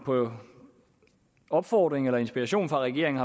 på opfordring eller med inspiration fra regeringen